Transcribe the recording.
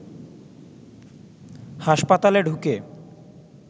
হাসপাতালে ঢুকে